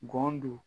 Gɔn don